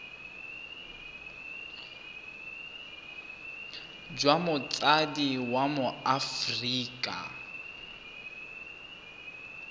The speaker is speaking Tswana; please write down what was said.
jwa motsadi wa mo aforika